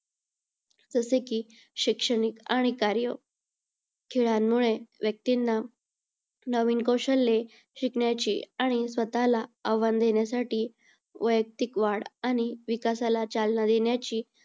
जसे की शैक्षणिक आणि कार्य खेळांमुळे व्यक्तींना नवीन कौशल्ये शिकण्याची आणि स्वतःला आव्हान देण्यासाठी व्ययक्तिक वाढ आणि विकासाला चालना देण्याची